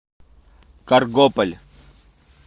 каргополь